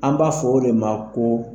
An b'a fɔ o de ma ko